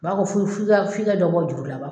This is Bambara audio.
U b'a fɔ f'i f'i k'a f'i f'i ka dɔ bɔ juru la